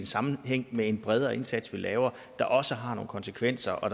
sammenhæng med en bredere indsats der også har nogle konsekvenser og